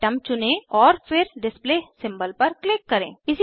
atom चुनें और फिर डिस्प्ले सिंबल पर क्लिक करें